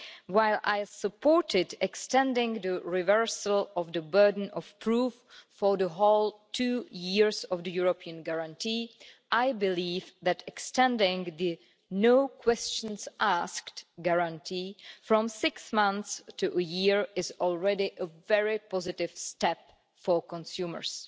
While I supported extending the reversal of the burden of proof for the whole two years of the European guarantee, I believe that extending the no questions asked' guarantee from six months to a year is already a very positive step for consumers.